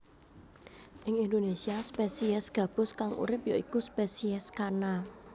Ing Indonésia spesies gabus kang urip ya iku spesies Channa